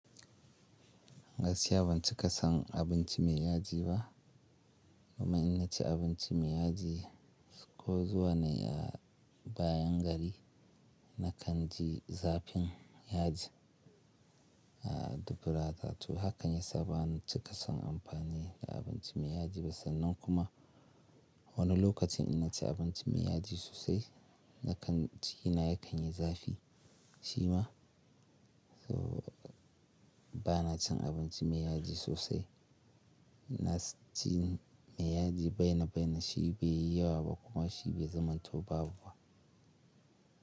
Gaskiya ban cika san abinci mai yaji ba, kuma in na ci abinci mai yaji ko zuwa ne a bayan gari na kan ji zafin yaji. Dubura tatu, hakan ya sa ban cika san amfani da abinci mai yaji ba sannan kuma wani lokacin ina ci abinci mai yaji sosai na kan ji cikinq ya kanyi zafi shi ma. So ba na cin abinci mai yaji sosai, na ci mai yaji bainabaina shi be yi yawa ba kuma shi be zama to babba.